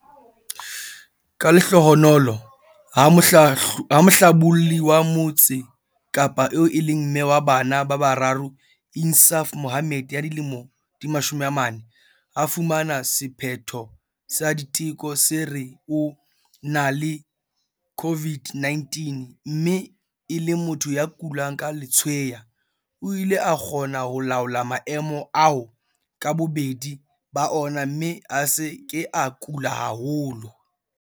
Ka lehlohonolo, ha mohlabolli wa Motse Kapa eo e leng mme wa bana ba bararo Insaaf Mohammed, 40, a fumana sephetho sa diteko se re o na le COVID-19 mme e le motho ya kulang ke letshweya, o ile a kgona ho laola maemo ao ka bobedi ba ona mme a se ke a kula haholo.